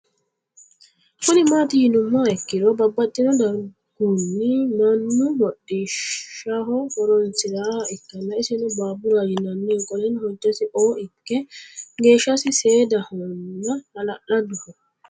Kuni mati yinumoha ikiro babaxino darguni Mannu hoxishaho horonsiraniha ikana isino baburaho yinaniha qoleno hojasi o iko geeshasi seedahona halaladoho